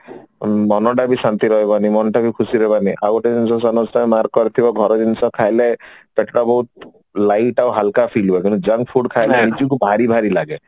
ମନଟା ବି ଶାନ୍ତି ରହିବନି ମନଟା ବି ଖୁସି ରହିବାନି ଆଉ ଗୋଟେ ଜିନିଷ mark କରିଥିବ ଘର ଜିନିଷ ଖାଇଲେ ପେଟ ବହୁତ light ଆଉ ହାଲକା ଫୀଲ ହୁଏ କିନ୍ତୁ junk food ଖାଇଲେ ନିଜକୁ ଭାରି ଭାରି ଲାଗେ